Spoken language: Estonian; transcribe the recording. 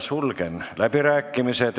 Sulgen läbirääkimised.